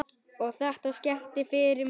Og þetta skemmdi fyrir mér.